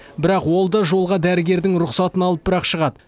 бірақ ол да жолға дәрігердің рұқсатын алып бірақ шығады